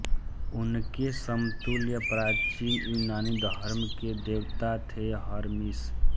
उनके समतुल्य प्राचीन यूनानी धर्म के देवता थे हरमीस